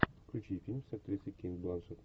включи фильм с актрисой кейт бланшетт